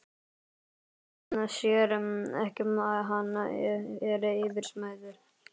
Það leynir sér ekki að hann er yfirsmiður.